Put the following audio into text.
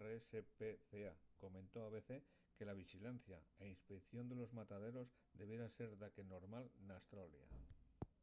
rspca comentó a abc que la vixilancia y inspeición de los mataderos debiera ser daqué normal n’australia